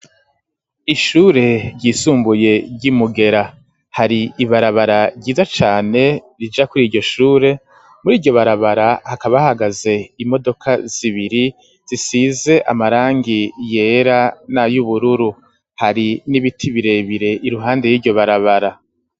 Ishure ryisumbuye ry'imugera hari ibarabara ryiza cane rija kuri iryo shure muri iryo barabara hakaba hahagaze imodoka zibiri zisize amarangi yera nay'ubururu hari n'ibiti birebire iruhande y'iryo barabara.